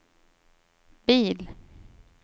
bil